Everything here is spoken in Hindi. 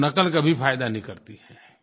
तो नक़ल कभी फ़ायदा नहीं करती है